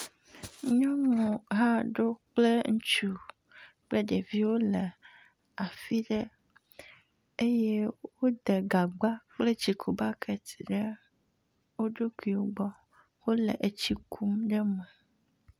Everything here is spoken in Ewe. Nyɔnu aɖewo kple ŋutsu kple ɖeviwo wole afi ɖe eye wode gagba kple tsikubakiti ɖe wo ɖokuiwo gbɔ. Wole etsi kum ɖe me